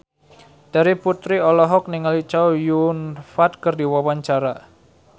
Terry Putri olohok ningali Chow Yun Fat keur diwawancara